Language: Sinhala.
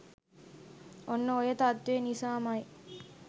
ඔන්න ඔය තත්ත්වය නිසාම යි